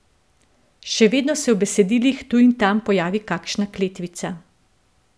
Še vedno se v besedilih tu in tam pojavi kakšna kletvica.